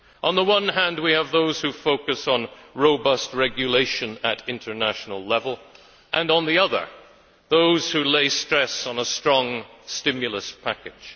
On the one hand, we have those who focus on robust regulation at international level, and on the other, those who lay stress on a strong stimulus package.